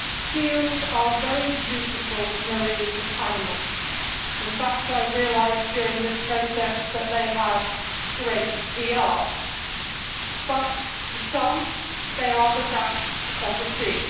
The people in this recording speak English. Seals are very beautiful marine animals in fact, I have realised during this process that they have great PR but to some they are the rats of the sea.